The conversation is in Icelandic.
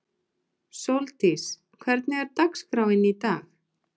Sóldís, hvernig er dagskráin í dag?